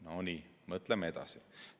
No nii, mõtleme edasi.